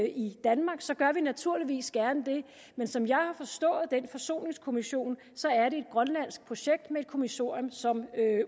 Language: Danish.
i danmark så gør vi naturligvis gerne det men som jeg har forstået den forsoningskommission er det et grønlandsk projekt med et kommissorium som